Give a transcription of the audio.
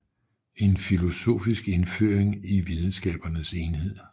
En filosofisk indføring in videnskabernes enhed